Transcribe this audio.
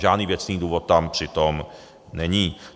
Žádný věcný důvod tam přitom není.